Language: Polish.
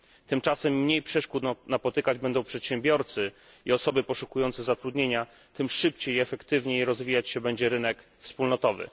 Tymczasem im mniej przeszkód napotykać będą przedsiębiorcy i osoby poszukujące zatrudnienia, tym szybciej i efektywniej rozwijać się będzie rynek wspólnotowy.